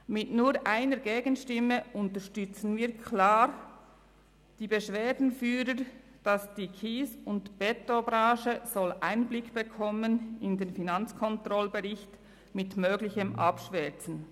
Mit nur einer Gegenstimme unterstützen wir klar die Beschwerdeführer, also, dass die Kies- und Betonbranche Einblick bekommen soll in den Finanzkontrollbericht mit möglichem Einschwärzen.